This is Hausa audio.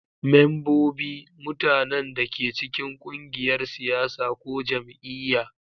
Membobi: Mutanen da ke cikin ƙungiyar siyasa ko jam'iyya.